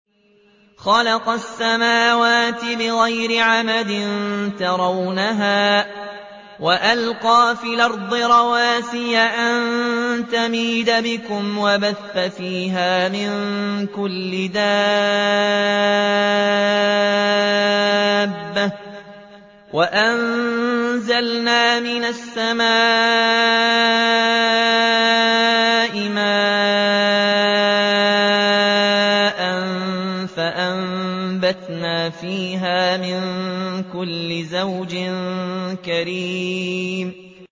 خَلَقَ السَّمَاوَاتِ بِغَيْرِ عَمَدٍ تَرَوْنَهَا ۖ وَأَلْقَىٰ فِي الْأَرْضِ رَوَاسِيَ أَن تَمِيدَ بِكُمْ وَبَثَّ فِيهَا مِن كُلِّ دَابَّةٍ ۚ وَأَنزَلْنَا مِنَ السَّمَاءِ مَاءً فَأَنبَتْنَا فِيهَا مِن كُلِّ زَوْجٍ كَرِيمٍ